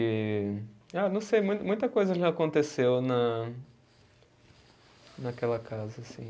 E, ah, não sei, mui muita coisa já aconteceu na, naquela casa, assim.